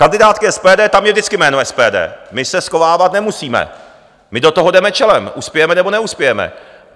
Kandidátky SPD, tam je vždycky jméno SPD, my se schovávat nemusíme, my do toho jdeme čelem, uspějeme, nebo neuspějeme.